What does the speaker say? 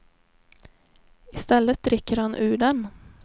I stället dricker han ur den.